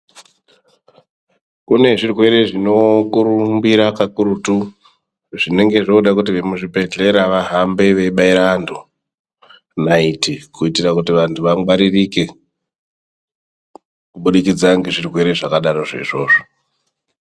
Kune zvirwere zvinokurumbira kakurutu, zvinenge zvoode kuti vemuzvibhedhlera vahambe veibaire vantu naiti ,kuitira kuti vantu vangwaririke, kubudikidza ngezvirwere zvakadarozvo izvozvo.